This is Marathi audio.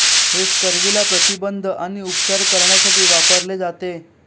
हे स्कर्वीला प्रतिबंध आणि उपचार करण्यासाठी वापरले जाते